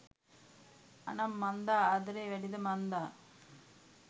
අනන් මන්දා ආදරෙ වැඩිද මන්දා